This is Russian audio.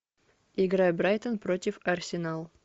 игра брайтон против арсенал